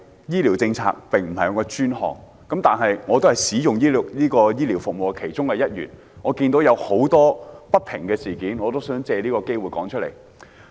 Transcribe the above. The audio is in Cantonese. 醫療政策並非我的專屬範疇，但我亦是使用醫療服務的其中一員，眼見社會上許多不平事，希望藉此機會說出來。